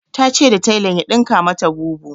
Ta ce ya tailan ya dinka mata bubu